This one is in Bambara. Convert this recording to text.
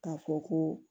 K'a fɔ ko